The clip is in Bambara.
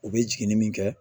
U bɛ jiginni min kɛ